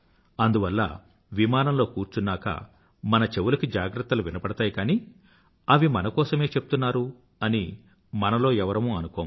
అందువల్ల విమానంలో కూర్చున్నాకా మన చెవులకి జాగ్రత్తలు వినబడతాయి కానీ అవి మన కోసమే చెప్తున్నారు అని మనలో ఎవరమూ అనుకోము